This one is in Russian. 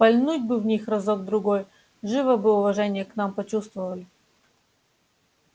пальнуть бы в них разок другой живо бы уважение к нам почувствовали